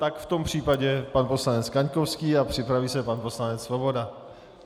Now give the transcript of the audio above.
Tak v tom případě pan poslanec Kaňkovský a připraví se pan poslanec Svoboda.